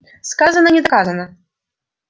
сказано не доказано